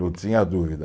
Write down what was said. Não tinha dúvida.